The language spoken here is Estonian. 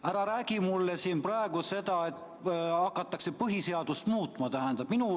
Ära räägi mulle siin praegu seda, et hakatakse põhiseadust muutma.